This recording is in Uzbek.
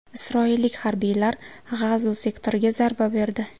Isroillik harbiylar G‘azo sektoriga zarba berdi.